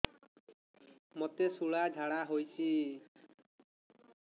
ମୋତେ ଶୂଳା ଝାଡ଼ା ହଉଚି